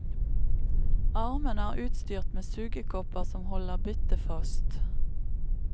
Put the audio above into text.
Armene er utstyrt med sugekopper som holder byttet fast.